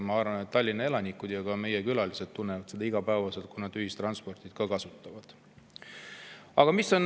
Ma arvan, et Tallinna elanikud ja ka meie külalised tunnevad iga päev, kui nad ühistransporti kasutavad,.